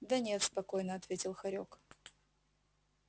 да нет спокойно ответил хорёк